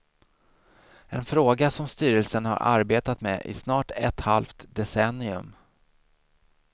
En fråga som styrelsen har arbetat med i snart ett halvt decennium.